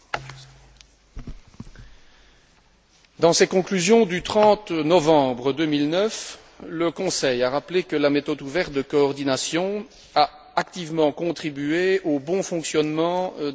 Dans ses conclusions du 30 novembre 2009, le Conseil a rappelé que la méthode ouverte de coordination a activement contribué au bon fonctionnement des marchés du travail ainsi qu'à l'inclusion sociale.